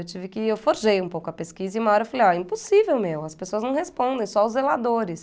Eu tive que, eu forjei um pouco a pesquisa e uma hora eu falei, ó, impossível, meu, as pessoas não respondem, só os zeladores.